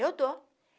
Eu dou.